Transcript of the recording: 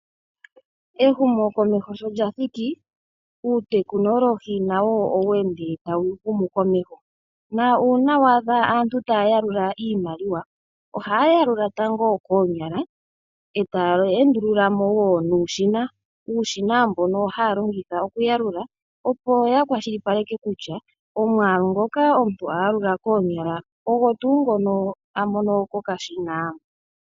Ehumokomeho sho lya thiki, uutekinolohi nawo oweende tawu humu komeho, na uuna waadha aantu taa yalula iimaliwa, ohaa yalula tango koonyala e taa endulula mo wo nuushina, uushina mbono haa longitha okuyalula opo ya kwashilipaleke kutya omwaalu ngoka omuntu a yalula koonyala ogo tuu ngono a mono kokashina.